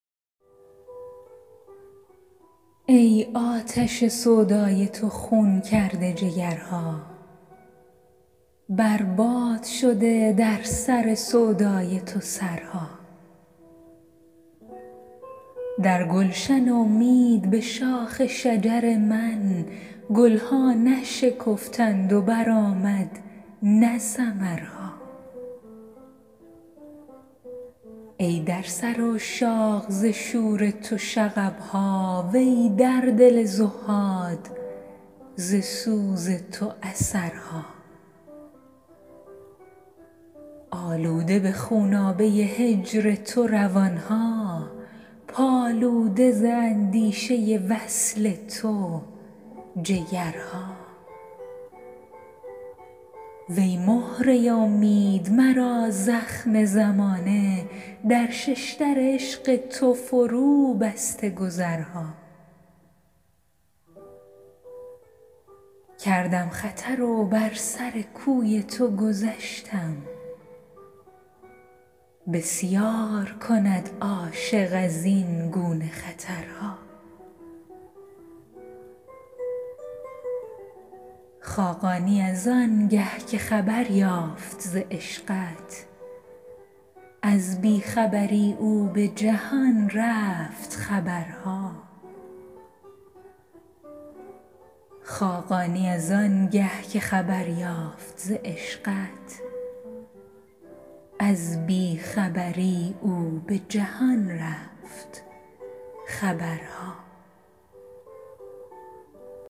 ای آتش سودای تو خون کرده جگرها بر باد شده در سر سودای تو سرها در گلشن امید به شاخ شجر من گل ها نشکفتند و برآمد نه ثمرها ای در سر عشاق ز شور تو شغب ها وی در دل زهاد ز سوز تو اثرها آلوده به خونابه هجر تو روان ها پالوده ز اندیشه وصل تو جگرها وی مهره امید مرا زخم زمانه در شش در عشق تو فروبسته گذرها کردم خطر و بر سر کوی تو گذشتم بسیار کند عاشق از این گونه خطرها خاقانی از آن گه که خبر یافت ز عشقت از بی خبری اش به جهان رفت خبرها